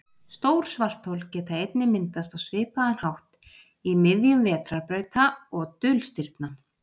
stór svarthol geta einnig myndast á svipaðan hátt í miðjum vetrarbrauta og dulstirna